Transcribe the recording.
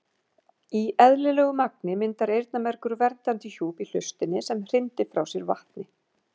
Í eðlilegu magni myndar eyrnamergur verndandi hjúp í hlustinni sem hrindir frá sér vatni.